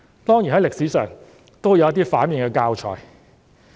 當然，歷史上也有一些反面教材。